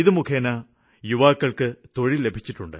ഇതു മുഖേന യുവാക്കള്ക്ക് തൊഴില് ലഭിച്ചിട്ടുണ്ട്